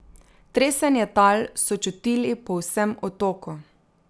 Tresenje tal so čutili po vsem otoku.